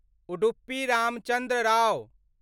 Udupi Ramachandra Rao